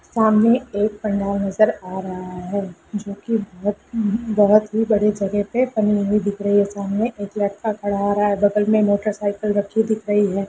सामने एक पंडाल नज़र आ रहा है जो की बहुत बहुत ही बड़ी जगह पे बनी हुई दिख रही है सामने एक लड़का खड़ा आ रहा है बगल में मोटर साइकिल खड़ी हुए दिख रही है।